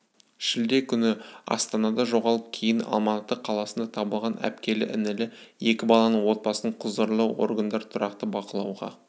шілде күні астанада жоғалып кейін алматы қаласында табылған әпкелі-інілі екі баланың отбасын құзырлы органдар тұрақты бақылауға